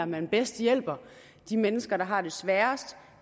man bedst hjælper de mennesker der har det sværest